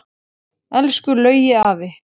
Elsku Laugi afi.